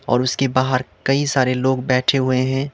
और उसके बाहर कई सारे लोग बैठे हुए हैं।